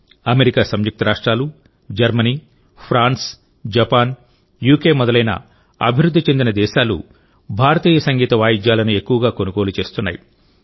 America సంయుక్తరాష్ట్రాలు Germany France Japan UK మొదలైన అభివృద్ధి చెందిన దేశాలు భారతీయ సంగీత వాయిద్యాలను ఎక్కువగా కొనుగోలు చేస్తున్నాయి